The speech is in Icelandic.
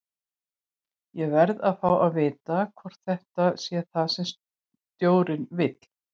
Ég verð að fá að vita hvort þetta sé það sem stjórinn vill?